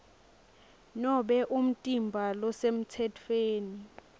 nobe umtimba losemtsetfweni